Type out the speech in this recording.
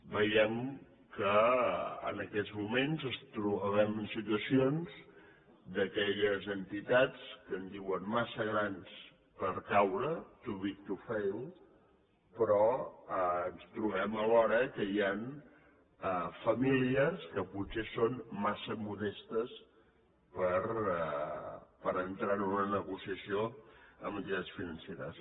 veiem que en aquests moments ens trobem en situacions d’aquelles entitats que en diuen massa grans per caure too big to fail però ens trobem alhora que hi han famílies que potser són massa modestes per entrar en una negociació amb entitats financeres